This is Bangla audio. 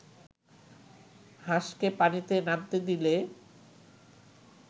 হাঁসকে পানিতে নামতে দিলে